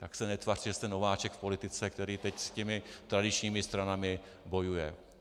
Tak se netvařte, že jste nováček v politice, který teď s těmi tradičními stranami bojuje.